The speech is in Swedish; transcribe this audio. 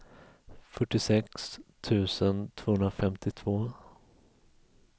fyrtiosex tusen tvåhundrafemtiotvå